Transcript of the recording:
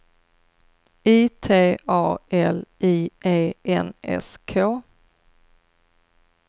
I T A L I E N S K